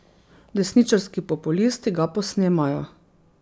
Desničarski populisti ga posnemajo.